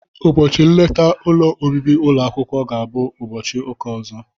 Ụbọchị nleta ụlọ obibi ụlọ akwụkwọ ga abụ n'ụbọchị ụka ọzọ.